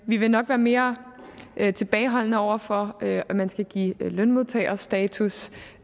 vi vil nok være mere tilbageholdende over for at man skal give lønmodtagerstatus